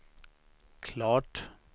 klart